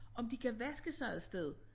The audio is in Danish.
Om de kan vaske sig et sted